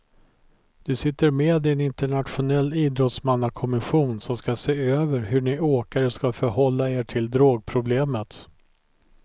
Du sitter med i en internationell idrottsmannakommission som ska se över hur ni åkare ska förhålla er till drogproblemet.